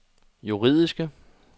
juridiske